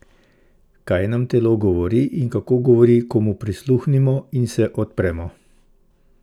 Kaj nam telo govori in kako govori ko mu prisluhnemo in se mu odpremo?